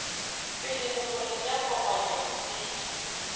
pele bokgoni bja kopanya botsebi